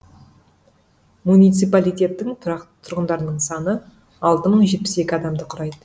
муниципалитеттің тұрақты тұрғындарының саны алты мың жетпіс екі адамды құрайды